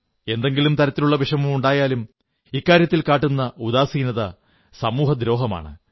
എന്തെങ്കിലും തരത്തിലുള്ള വിഷമമുണ്ടായാലും ഇക്കാര്യത്തിൽ കാട്ടുന്ന ഉദാസീനത സമൂഹദ്രോഹമാണ്